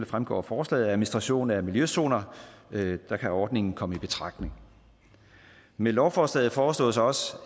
fremgår af forslaget administration af miljøzoner der kan ordningen komme i betragtning med lovforslaget foreslås også